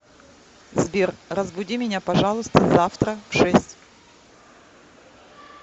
сбер разбуди меня пожалуйста завтра в шесть